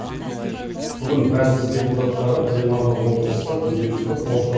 бүгін мәжіліс депутаттары пленарлық отырыста дүниежүзілік пошта